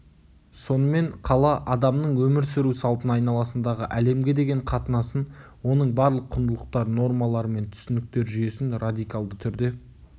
сонымен қала адамның өмір сүру салтын айналасындағы әлемге деген қатынасын оның барлық құндылықтар нормалар мен түсініктер жүйесін радикалды түрде